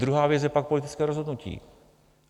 Druhá věc je pak politické rozhodnutí.